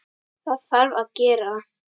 Það þarf að gera.